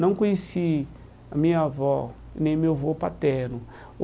Não conheci a minha avó nem o meu avô paterno.